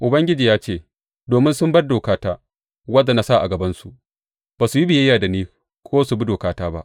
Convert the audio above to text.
Ubangiji ya ce, Domin sun bar dokata, wadda na sa a gabansu; ba su yi biyayya da ni ko su bi dokata ba.